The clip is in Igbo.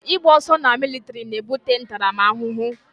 Ị gba ọsọ na militiri na ebute ntaramahụhụ